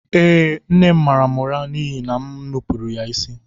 Eee, nne m mara m ụra n’ihi na m nupụrụ ya isi